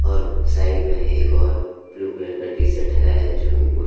और साइड में एक और ब्लू कलर का टीशर्ट है जो कि पुरा--